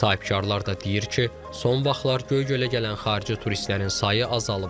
Sahibkarlar da deyir ki, son vaxtlar Göygölə gələn xarici turistlərin sayı azalıb.